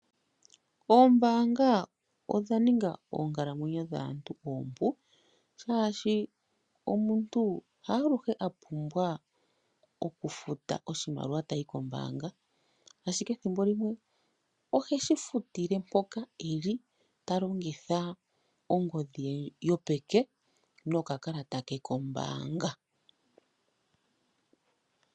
Oombaanga odha ninga oonkalamwenyo dhaantu oompu shaashi omuntu haaluhe apumbwa okufuta oshimaliwa tayi koombanga. Ethimbo limwe oheshi futile mpoka eli talongitha ongodhi ye yopeke nokakalata ke koombanga.